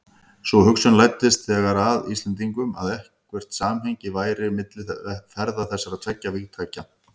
Sú hugsun læddist þegar að Íslendingum, að eitthvert samhengi væri milli ferða þessara tveggja vígtækja.